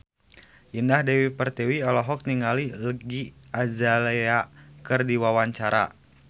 Indah Dewi Pertiwi olohok ningali Iggy Azalea keur diwawancara